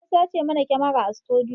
An sace mana kyamara a sutudiyo